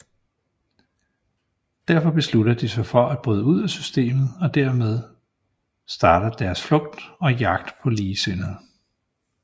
Derfor beslutter de sig for at bryde ud af systemet og dermed starter deres flugt og jagt på ligesindede